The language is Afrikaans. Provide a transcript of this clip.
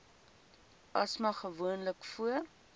asma gewoonlik voor